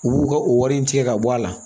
U b'u ka o wari in tigɛ ka bɔ a la